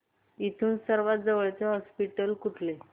इथून सर्वांत जवळचे हॉस्पिटल कुठले